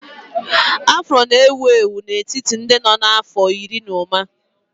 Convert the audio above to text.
Afro na-ewu ewu n'etiti ndị nọ n'afọ iri na ụma